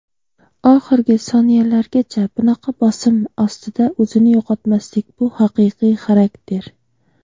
Oxirgi soniyalargacha bunaqa bosim ostida o‘zini yo‘qotmaslik - bu haqiqiy xarakter!.